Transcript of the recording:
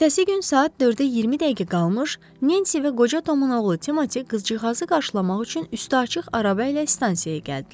Ertəsi gün saat 4-ə 20 dəqiqə qalmış, Nensi və qoca Tomun oğlu Timotiy qızcığazı qarşılamaq üçün üstü açıq araba ilə stansiyaya gəldilər.